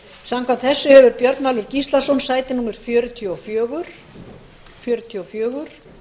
samkvæmt þessu hefur álfheiður ingadóttir sæti fjörutíu og fjögur